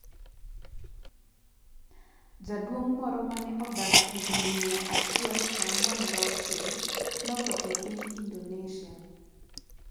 Jaduong' moro mane odak higni mia achiel prang'wen gi auchiel notho e piny Indonesia